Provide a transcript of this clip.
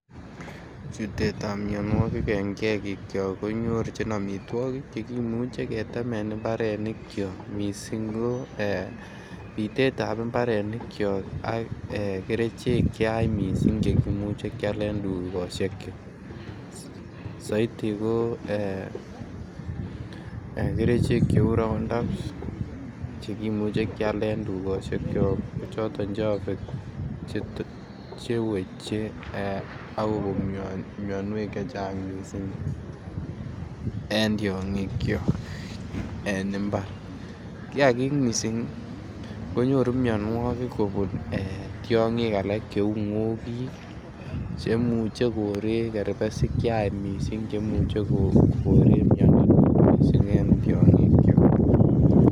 Sitetab mionwokik en kiagikyok ko nyorchini omitwokik che kimuche ketem en imbarenikyok missing ko ee bitetab mbarenikyok ak kerichek che yach missing chekimuche kyal en tugoshekyok, soiti ko kerichek che uu roundap chekimuche kyal en tugoshekyok choton che weche ako kogonon mionwek chechang missing en tyogikyok en imbar. Kyagik missing konyoru mionwokik kobun tyogik alak che uu ngogik chemuche koree kerbesik che yach missing chemuche koree miondo missing en tyogichu